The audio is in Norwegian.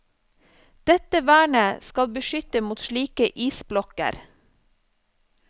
Dette vernet skal beskytte mot slike isblokker.